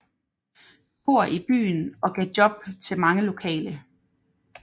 Cohr i byen og gav job til mange lokale